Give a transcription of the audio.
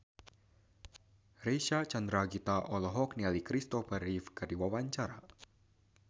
Reysa Chandragitta olohok ningali Kristopher Reeve keur diwawancara